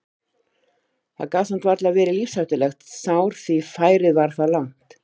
Það gat samt varla verið lífshættulegt sár því færið var það langt.